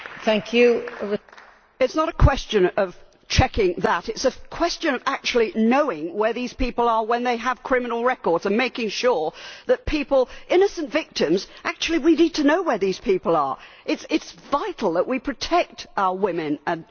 It is not a question of checking that, it is a question of actually knowing where these people are when they have criminal records, and making sure that people, innocent victims actually we need to know where these people are. It is vital that we protect our women, really it is.